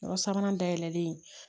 Yɔrɔ sabanan dayɛlɛlen